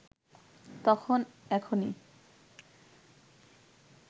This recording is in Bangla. তখন এখনি